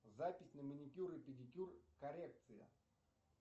запись на маникюр и педикюр коррекция